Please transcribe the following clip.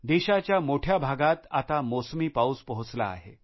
देशाच्या मोठ्या भागात आता मोसमी पाऊस पोहोचला आहे